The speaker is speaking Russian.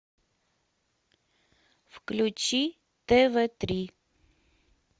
включи тв три